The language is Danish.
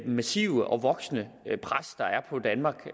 massive og voksende pres der er på danmark